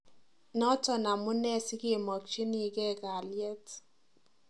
Naton amunee sikemakchinikee kaliet.